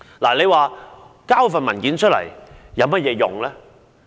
提交上述文件有何作用？